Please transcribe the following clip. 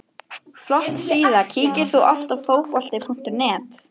Flott síða Kíkir þú oft á Fótbolti.net?